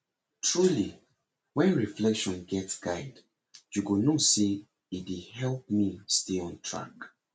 truly when reflection get guide you know say e dey help me stay on track